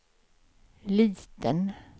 liten